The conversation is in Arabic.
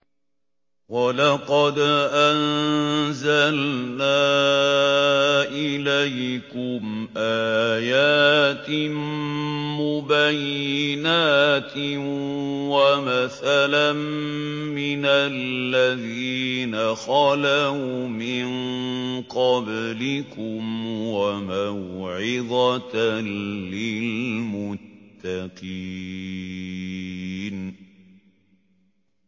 وَلَقَدْ أَنزَلْنَا إِلَيْكُمْ آيَاتٍ مُّبَيِّنَاتٍ وَمَثَلًا مِّنَ الَّذِينَ خَلَوْا مِن قَبْلِكُمْ وَمَوْعِظَةً لِّلْمُتَّقِينَ